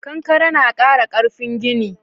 Kankare na ƙara ƙarfin gini.